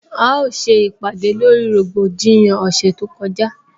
A ó se ìpàdè lórí rògbòdìyàn ọ̀sẹ̀ tó kọjá